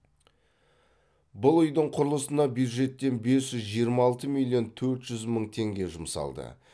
бұл үйдің құрылысына бюджеттен бес жүз жиырма алты миллион төрт жүз мың теңге жұмсалды